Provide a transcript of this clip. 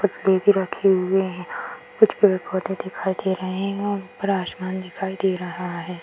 कुछ रखे हुए है कुछ पेड़-पौधे दिखाई दे रहे है ऊपर आसमान दिखाई दे रहा है ।